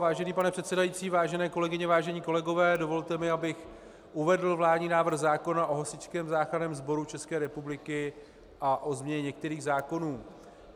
Vážený pane předsedající, vážené kolegyně, vážení kolegové, dovolte mi, abych uvedl vládní návrh zákona o Hasičském záchranném sboru České republiky a o změně některých zákonů.